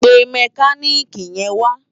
Pé mèkánikí yèn wá